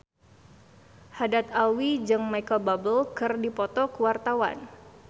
Haddad Alwi jeung Micheal Bubble keur dipoto ku wartawan